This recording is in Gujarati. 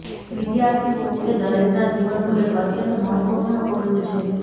વિદ્યાર્થી હોવું એ દરેકના જીવનનું એક અત્યંત મહત્વપૂર્ણ પગલું છે